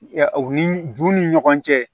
Ɛ u ni ju ni ɲɔgɔn cɛ